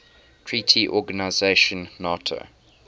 treaty organization nato